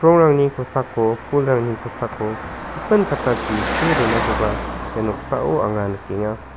kosako pulrangni kosako gipin kattachi see donakoba ia noksao anga nikenga.